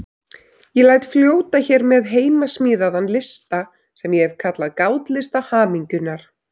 Ég læt fljóta hér með heimasmíðaðan lista sem ég hef kallað Gátlista hamingjunnar.